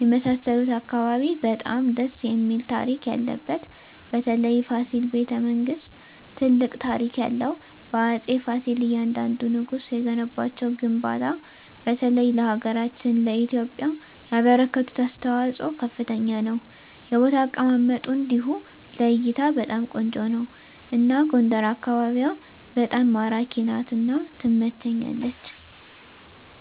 የመሣሠሉት አካባቢ በጣም ደስ እሚል ታሪክ ያለበት በተለይ ፋሲል በተ መንግስት ትልቅ ታሪክ ያለው በአፄ ፍሲል እያንደንዱ ንጉስ የገነቧቸው ግንባታ በተለይ ለሀገራችን ለኢትዮጵያ ያበረከቱት አስተዋፅኦ ከፍተኛ ነው የቦታ አቀማመጡ እንዲሁ ለእይታ በጣም ቆንጆ ነው አና ጎንደር አካቢዋ በጣም ማራኪ ናት እና ትመቸኛለች